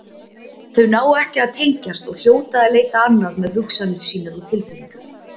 Þau ná ekki að tengjast og hljóta að leita annað með hugsanir sínar og tilfinningar.